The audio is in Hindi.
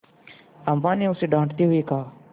अम्मा ने उसे डाँटते हुए कहा